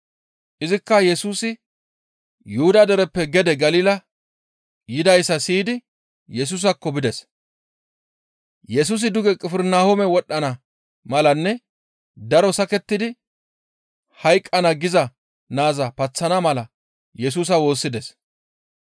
Izikka Yesusi Yuhuda dereppe gede Galila yidayssa siyidi Yesusaakko bides. Yesusi duge Qifirnahoome wodhdhana malanne daro sakettidi hayqqana giza naaza paththana mala Yesusa woossides.